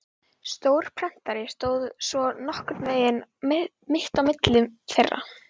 Stór prentari stóð svo nokkurn veginn mitt á milli þeirra.